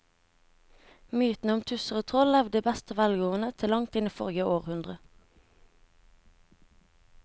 Mytene om tusser og troll levde i beste velgående til langt inn i forrige århundre.